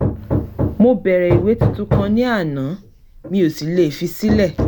mo bẹ̀rẹ̀ ìwé tuntun kan ní àná mi ò sì lè fi sílẹ̀